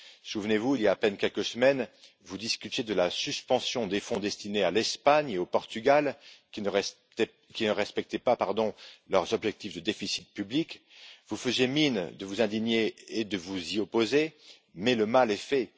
Souvenez vous, il y a à peine quelques semaines, vous discutiez de la suspension des fonds destinés à l'Espagne et au Portugal, qui ne respectaient pas leurs objectifs de déficit public, vous faisiez mine de vous indigner et de vous y opposer, mais le mal est fait.